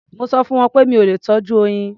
Mo sọ fún wọn pé mi ò lè tọ́jú oyin.